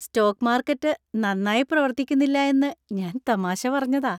Stock market നന്നായി പ്രവർത്തിക്കുന്നില്ല എന്ന് ഞാൻ തമാശ പറഞ്ഞതാ.